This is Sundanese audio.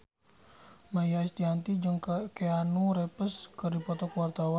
Maia Estianty jeung Keanu Reeves keur dipoto ku wartawan